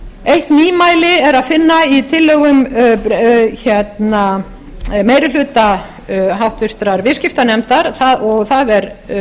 eitt nýmæli er að finna í tillögum meiri hluta háttvirtur viðskiptanefndar og það er